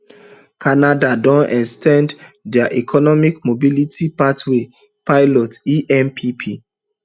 canada don ex ten d dia economic mobility pathways pilot empp